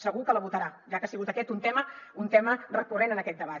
segur que la votarà ja que ha sigut aquest un tema recurrent en aquest debat